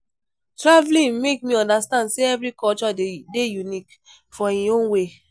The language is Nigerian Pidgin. Traveling make me understand say every culture dey unique for im own way